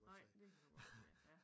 Nej det kan du godt se ja